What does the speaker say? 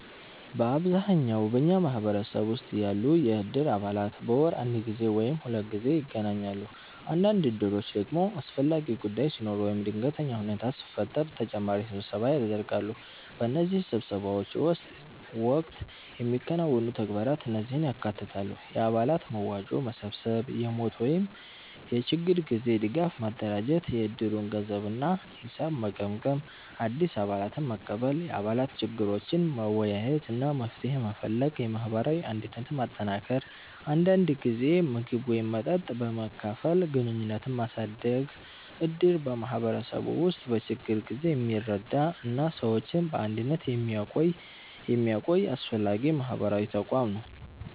በአብዛኛው በኛ ማህበረሰብ ውስጥ ያሉ የእድር አባላት በወር አንድ ጊዜ ወይም ሁለት ጊዜ ይገናኛሉ። አንዳንድ እድሮች ደግሞ አስፈላጊ ጉዳይ ሲኖር ወይም ድንገተኛ ሁኔታ ሲፈጠር ተጨማሪ ስብሰባ ያደርጋሉ። በእነዚህ ስብሰባዎች ወቅት የሚከናወኑ ተግባራት እነዚህን ያካትታሉ፦ የአባላት መዋጮ መሰብሰብ የሞት ወይም የችግር ጊዜ ድጋፍ ማደራጀት የእድሩን ገንዘብ እና ሂሳብ መገምገም አዲስ አባላትን መቀበል የአባላት ችግሮችን መወያየት እና መፍትሄ መፈለግ የማህበራዊ አንድነትን ማጠናከር አንዳንድ ጊዜ ምግብ ወይም መጠጥ በመካፈል ግንኙነትን ማሳደግ እድር በማህበረሰቡ ውስጥ በችግር ጊዜ የሚረዳ እና ሰዎችን በአንድነት የሚያቆይ አስፈላጊ ማህበራዊ ተቋም ነው።